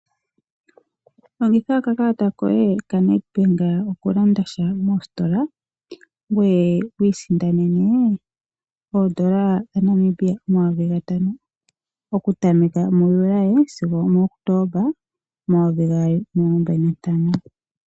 Longitha okakalata koye kaNedbank okulandasha mositola ngoye wu isindanene oN$5000 okutameka muJuli sigo omuKotomba 2025.